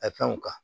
A fɛnw kan